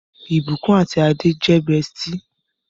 Ibukun àti Ade jé bestie.